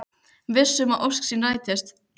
Viss um að ósk sín rætist.